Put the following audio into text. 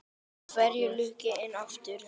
Hvenær lauk henni aftur?